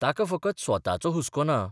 ताका फकत स्वताचो हुस्को ना.